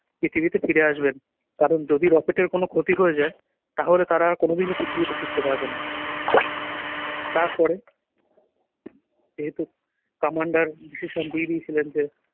পৃথিবীতে ফিরে আসবেন কারণ যদি rocket এর কোন ক্ষতি হয়ে যায় তাহলে তারা আর কোনদিনই পৃথিবীতে ফিরতে পারবেন না। তারপরে যেহেতু commander decision দিয়ে দিয়েছিলেন যে